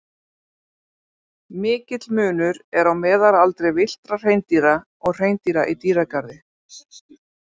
Mikill munur er á meðalaldri villtra hreindýra og hreindýra í dýragarði.